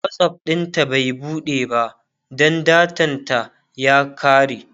WhatsApp ɗinta bai buɗe ba Dan datan ta ya kare